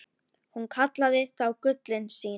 Hún kallaði þá gullin sín.